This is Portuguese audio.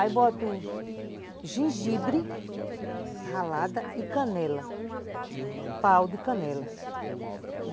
Aí boto gengibre ralada e canela, pau de canela.